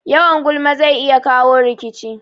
Yawan gulma zai iya kawo rikici